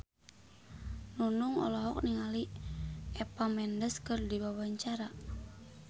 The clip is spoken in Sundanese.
Nunung olohok ningali Eva Mendes keur diwawancara